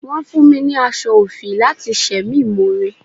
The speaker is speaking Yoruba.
Wọ́n fún mi ní aṣọ òfì láti ṣe mí more.